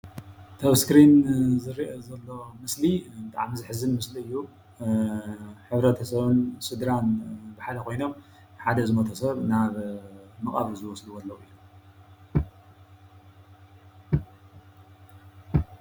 ኣቲ እስክሪን ዝርአ ዘሎ ምስሊ ብጣዕሚ ዘሕዝን ምስሊ እዩ። ሕብረተሰብን ስድራን ብሓደ ኮይኖም ሓደ ዝሞተ ሰብ ናብ መቃብር ይወስድዎ ኣለው ።